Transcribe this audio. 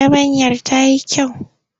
Yabanyar ta yi kyau.